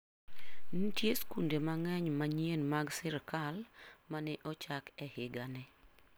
Nitie skunde mang'eny manyien mag sirkal ma ne ochak e higani.